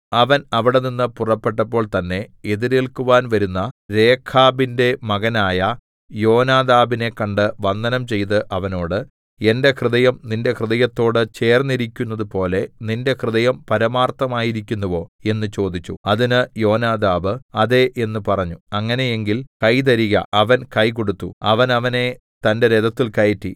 അവൻ അവിടെനിന്ന് പുറപ്പെട്ടപ്പോൾ തന്നെ എതിരേൽക്കുവാൻ വരുന്ന രേഖാബിന്റെ മകനായ യോനാദാബിനെ കണ്ട് വന്ദനം ചെയ്ത് അവനോട് എന്റെ ഹൃദയം നിന്റെ ഹൃദയത്തോട് ചേർന്നിരിക്കുന്നതുപോലെ നിന്റെ ഹൃദയം പരമാർത്ഥമായിരിക്കുന്നുവോ എന്ന് ചോദിച്ചു അതിന് യോനാദാബ് അതെ എന്ന് പറഞ്ഞു അങ്ങനെ എങ്കിൽ കൈ തരിക അവൻ കൈ കൊടുത്തു അവൻ അവനെ തന്റെ രഥത്തിൽ കയറ്റി